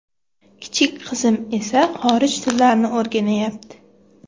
Kichik qizim esa xorij tillarini o‘rganayapti.